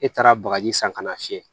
E taara bagaji san kana fiyɛ